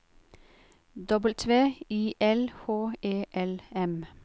W I L H E L M